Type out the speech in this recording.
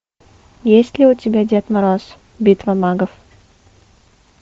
есть ли у тебя дед мороз битва магов